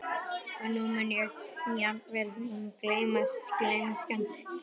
Og nú mundi jafnvel hún gleymast, gleymskan sjálf.